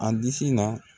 A disi la